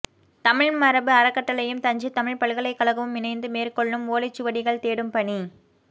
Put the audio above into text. தமிழ் மரபு அறக்கட்டளையும் தஞ்சை தமிழ்ப் பல்கலைக்கழகமும் இணைந்து மேற்கொள்ளும் ஓலைச் சுவடிகள் தேடும் பணி